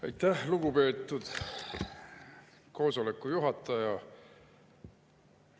Aitäh, lugupeetud istungi juhataja!